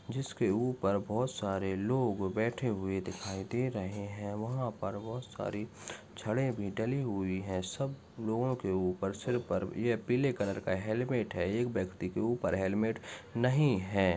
जिस के ऊपर बहुत सारे लोग बैठे हुए दिखाई दे रहे है वहाँ पर बहुत सारी छड़े भी डली हुई है सब लोगो के ऊपर सिर पर ये पीले कलर का हेलमेट है एक व्यक्ति के ऊपर हेलमेट नहीं है।